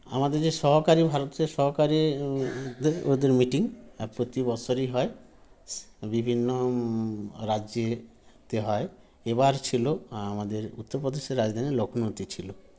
আমাদের যে সহকারী ভারতের সহকারী উ ওদের meeting প্রতি বৎসরই হয় বিভিন্ন ম ম রাজ্যে তে হয় এবার ছিল আমাদের উত্তর প্রদেশের রাজধানী লক্ষ্ণৌতে ছিল